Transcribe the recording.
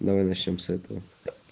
давай начнём с этого